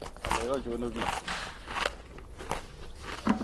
Ngalek ochon ooh bikyok?